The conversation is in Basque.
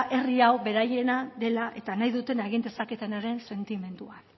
herri hau beraiena dela eta nahi dutena egin dezaketenaren sentimendua